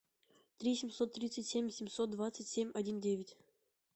три семьсот тридцать семь семьсот двадцать семь один девять